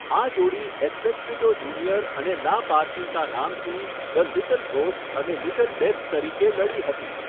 આ જોડી Espectrito Junior અને લા પાર્કિતા નામથી 'ધ લિટલ ઘોસ્ટ' અને 'લિટલ ડેથ' તરીકે લડી હતી.